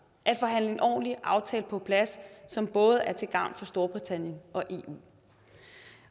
at forhandle en ordentlig aftale på plads som både er til gavn for storbritannien og eu